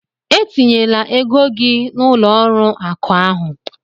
E tinyela ego gị na ụlọ ọrụ akụ ahụ!